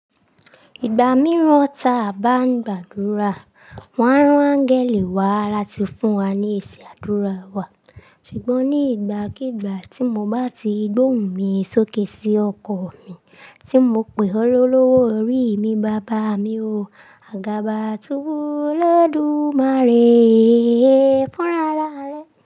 Ìgbà mìíràn ta a bá ń gbàdúrà, wọ́n a rán gẹ̀lẹ̀ wá láti fún wa ní èsì àdúrà wa. Ṣùgbọ́n ní ìgbàkígbà tí mo bá ti gbóhùn mi sókè sí ọkọọ̀ mi, tí mo pè ọ́ lọ́wọ́ orí mi, bàbá mi o, àgàbà túbu olódùmarè é fún rara rẹ.